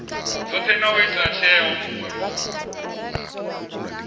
dzothe na u ita tsheo